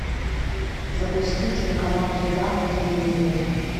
запусти телеканал еда на телевизоре